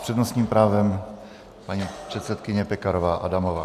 S přednostním právem paní předsedkyně Pekarová Adamová.